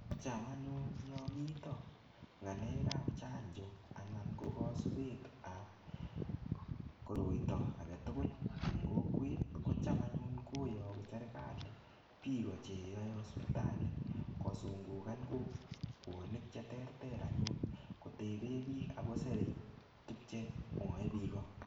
Cham anyun yo mito ng'alek ap chanjo anan ko kosubet ap koroito aketugul eng kokwet ko cham anyun koyoku serikali piko che yoei hospitali kosungukan kokwonik che ter ter anyun kotebe biik akoserei tukchemwoe piko.